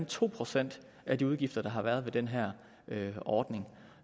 to procent af de udgifter der har været ved den her ordning